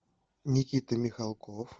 никита михалков